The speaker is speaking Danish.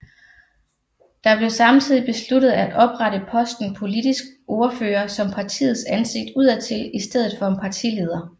Der blev samtidigt besluttet at oprette posten politisk ordfører som partiets ansigt udadtil i stedet for en partileder